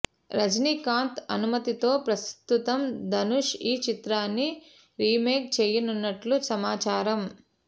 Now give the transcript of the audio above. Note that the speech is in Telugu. రజనీకాంత్ అనుమతితో ప్రస్తుతం ధనుష్ ఈ చిత్రాన్ని రీమేక్ చేయనున్నట్లు సమాచారం